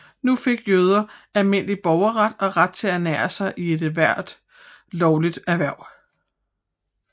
Nu fik jøder almindelig borgerret og ret til at ernære sig i ethvert lovligt erhverv